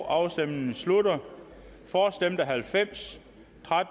afstemningen slutter for stemte halvfems